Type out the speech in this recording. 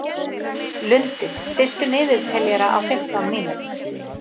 Lundi, stilltu niðurteljara á fimmtán mínútur.